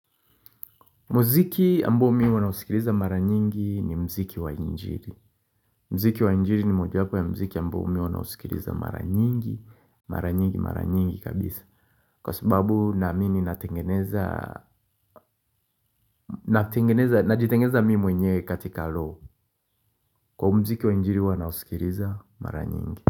Mziki ambao mimi huwa nausikiliza mara nyingi ni mziki wa injiri. Mziki wa injiri ni mojawapo ya mziki ambao mimi huwa nausikiliza mara nyingi, mara nyingi, mara nyingi kabisa. Kwa sababu na mimi ninatengeneza, natengeneza, najitengeneza mimi mwenyewe katika roho. Kwa mziki wa injiri huwa nausikiliza mara nyingi.